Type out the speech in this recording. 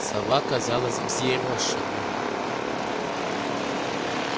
сова казалась взъерошенной